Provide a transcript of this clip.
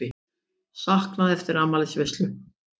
Saknað eftir afmælisveislu